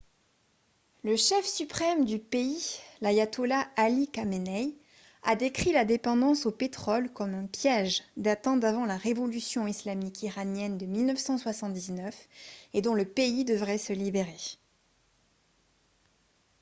le chef suprême du pays l’ayatollah ali khamenei a décrit la dépendance au pétrole comme un « piège » datant d’avant la révolution islamique iranienne de 1979 et dont le pays devrait se libérer